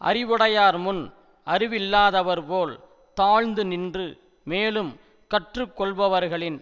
அறிவுடையார் முன் அறிவில்லாதவர் போல் தாழ்ந்து நின்று மேலும் கற்றுக்கொள்பவர்களின்